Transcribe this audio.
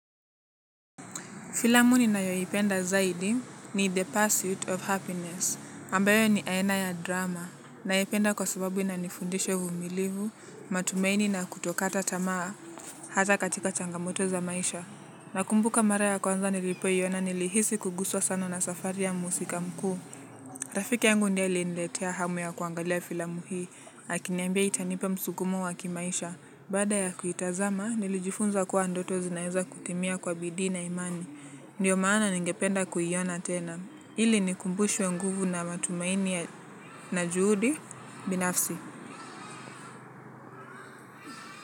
Filamu ninayoipenda zaidi ni the pursuit of happiness, ambayo ni aina ya drama. Naipenda kwa sababu inanifundisha uvumilivu, matumaini na kutokata tamaa hata katika changamoto za maisha. Nakumbuka mara ya kwanza nilipoiona nilihisi kuguswa sana na safari ya mhusika mkuu. Rafiki yangu ndiye aliniletea hamu ya kuangalia filamu hii akiniambia itanipa msukumo wa kimaisha. Baada ya kuitazama nilijifunza kuwa ndoto zinaeza kukimia kwa bidii na imani. Ndiyo maana ningependa kuiona tena. Ili nikumbushwe nguvu na matumaini na juhudi binafsi.